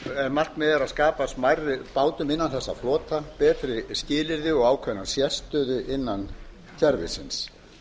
er að skapa smærri bátum innan þessa flota betri skilyrði og ákveðna sérstöðu innan kerfisins